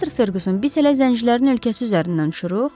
Mister Ferqüson, biz hələ zəncilərin ölkəsi üzərindən uçuruq.